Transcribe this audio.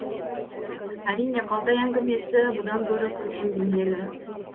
әрине қалтай әңгімесі бұдан гөрі көркем бейнелі